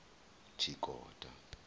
tshikota